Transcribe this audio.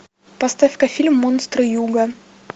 поставь ка фильм монстры юга